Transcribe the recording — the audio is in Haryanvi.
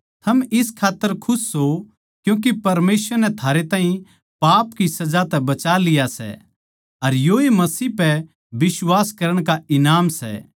थम इस खात्तर खुश सों क्यूँके परमेसवर नै थारे ताहीं पाप की सजा तै बचा लिया सै अर योए मसीह पै बिश्वास करण का ईनाम सै